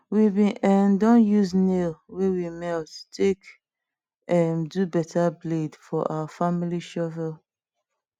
we bin um don use nail wey we melt take um do better blade for our family shovel